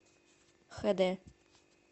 хэ дэ